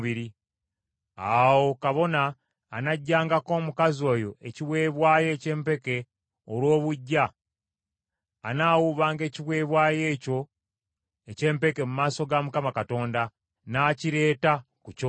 Awo kabona anaggyangako omukazi oyo ekiweebwayo eky’empeke olw’obuggya, anaawuubanga ekiweebwayo ekyo eky’empeke mu maaso ga Mukama Katonda, n’akireeta ku kyoto.